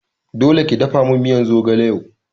Dole ki dafamin miyan zogale yau